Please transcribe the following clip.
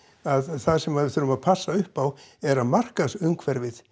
það sem við þurfum að passa upp á er að markaðsumhverfi